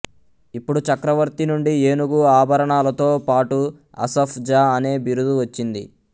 ఇప్పుడు చక్రవర్తి నుండి ఏనుగు ఆభరణాలతో పటు అసఫ్ జా అనే బిరుదు వచ్చింది